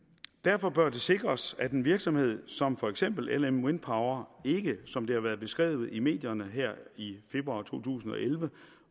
derfor bør det sikres at en virksomhed som for eksempel lm wind power ikke som det har været beskrevet i medierne her i februar to tusind og elleve